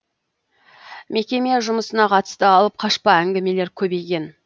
мекеме жұмысына қатысты алып қашпа әңгімелер көбейген